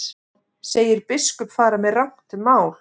Segir biskup fara með rangt mál